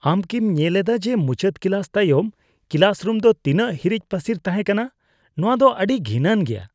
ᱟᱢ ᱠᱤᱢ ᱧᱮᱞ ᱮᱫᱟ ᱡᱮ ᱢᱩᱪᱟᱹᱫ ᱠᱞᱟᱥ ᱛᱟᱭᱚᱢ ᱠᱞᱟᱥ ᱨᱩᱢ ᱫᱚ ᱛᱤᱱᱟᱹᱜ ᱦᱤᱨᱤᱡ ᱯᱟᱹᱥᱤᱨ ᱛᱟᱦᱮᱸ ᱠᱟᱱᱟ ? ᱱᱚᱣᱟᱫᱚ ᱟᱹᱰᱤ ᱜᱷᱤᱱᱟᱱ ᱜᱮᱭᱟ ᱾